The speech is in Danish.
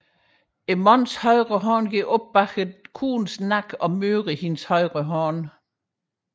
Herrens højre hånd går op bagom damens nakke og møder hendes højre hånd